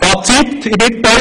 Ich komme zum Fazit: